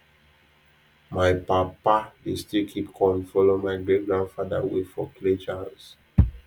my papa dey still keep corn follow my great grandfather way for clay jars